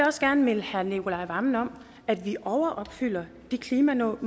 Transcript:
også gerne minde herre nicolai wammen om at vi overopfylder de klimamål